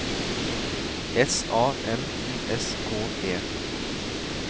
S A M I S K E